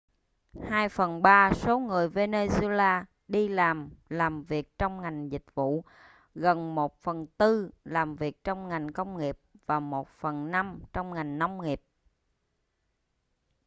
hai phần ba số người venezuela đi làm làm việc trong ngành dịch vụ gần một phần tư làm việc trong ngành công nghiệp và một phần năm trong ngành nông nghiệp